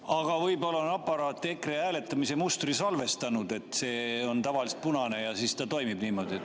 Aga võib-olla on aparaat EKRE hääletamise mustri salvestanud, et see on tavaliselt punane ja siis ta toimibki niimoodi.